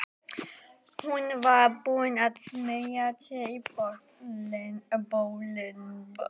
Hún var búin að smeygja sér í bolinn.